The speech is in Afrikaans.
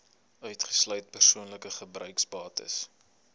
uitgesluit persoonlike gebruiksbates